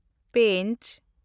ᱯᱮᱸᱪ